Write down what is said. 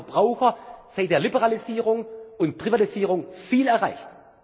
Und wir haben für die Verbraucher seit der Liberalisierung und Privatisierung viel erreicht.